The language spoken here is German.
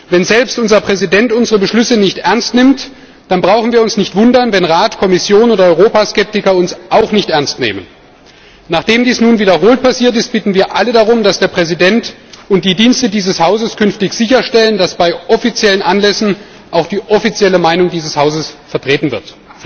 Wenn selbst unser Präsident unsere Beschlüsse nicht ernst nimmt, dann brauchen wir uns nicht zu wundern, wenn Rat, Kommission oder Europaskeptiker uns auch nicht ernst nehmen. Nachdem dies nun wiederholt passiert ist, bitten wir alle darum, dass der Präsident und die Dienste dieses Hauses künftig sicherstellen, dass bei offiziellen Anlässen auch die offizielle Meinung dieses Hauses vertreten wird.